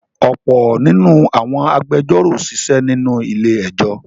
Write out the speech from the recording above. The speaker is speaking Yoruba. ọ̀pọ̀ nínú àwọn agbẹjọ́rò sisé nínú ilé-ẹjọ́.